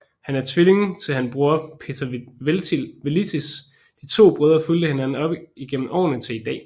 Han er tvilling til han bror Peter Velits De to brødre fulgte hinanden op igennem årene til i dag